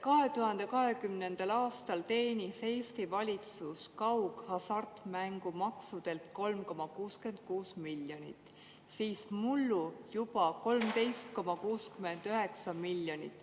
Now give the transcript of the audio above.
2020. aastal teenis Eesti valitsus kaughasartmängumaksult 3,66 miljonit, mullu juba 13,69 miljonit.